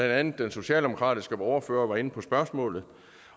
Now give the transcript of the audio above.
andet den socialdemokratiske ordfører var inde på spørgsmålet